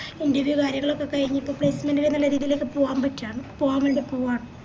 interview കാര്യങ്ങളൊക്കെ കൈഞ്ഞ് ഇപ്പൊ placement നുള്ള രീതിലേക്ക് പോവാൻ പറ്റ അത് പൂവാൻ വേണ്ടി പോവാണ്